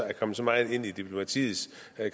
er kommet så meget ind i diplomatiets